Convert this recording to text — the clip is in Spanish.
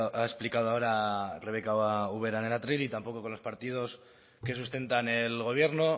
ha explicado ahora rebeka ubera en el atril y tampoco con los partidos que sustentan el gobierno